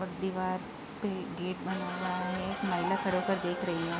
और दीवार पे गेट बना हुआ है महिला खड़े होकर देख रही है।